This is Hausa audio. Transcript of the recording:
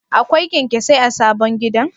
Akwai kyanyasai a sabon gidan?